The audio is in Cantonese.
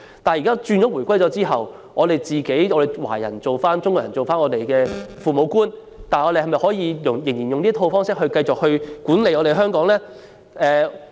但是，在回歸後，當香港人自己成為這個地方的父母官時，是否仍應繼續以這套方式管理香港呢？